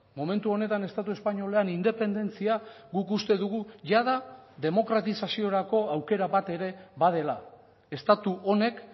momentu honetan estatu espainolean independentzia guk uste dugu jada demokratizaziorako aukera bat ere badela estatu honek